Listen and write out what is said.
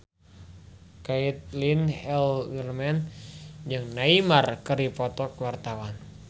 Caitlin Halderman jeung Neymar keur dipoto ku wartawan